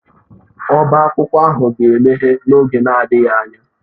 Ọbá akwụkwọ ahụ ga-emeghe n'oge adịghị anya.